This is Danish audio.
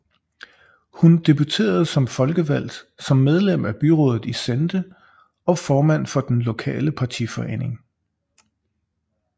Hun debuterede som folkevalgt som medlem af byrådet i Sehnde og formand for den lokale partiforening